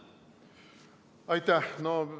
Aitäh!